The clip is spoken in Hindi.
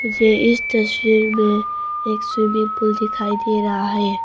मुझे इस तस्वीर में एक स्विमिंग पूल दिखाई दे रहा है।